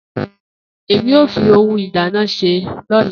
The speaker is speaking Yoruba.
Emi o fi ohun ìdáná se lola.